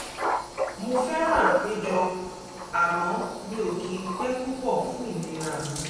mo fẹ́ràn àpéjọ àmọ́ mi ò kì í pẹ́ púpọ̀ fún ìlera mi